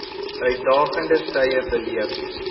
uitdagende tye beleef